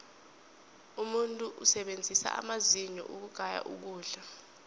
umuntu usebenzisa amazinyo ukugaya ukudla